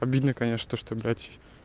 обидно конечно то что блять